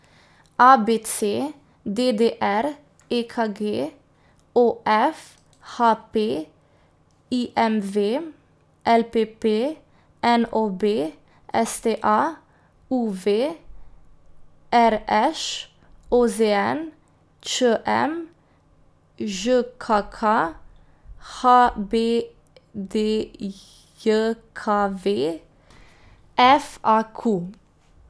A B C; D D R; E K G; O F; H P; I M V; L P P; N O B; S T A; U V; R Š; O Z N; Č M; Ž K K; H B D J K V; F A Q.